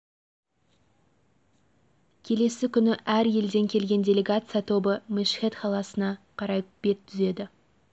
келесі күні әр елден келген делегация тобы мешхед қаласына қарай бет түзеді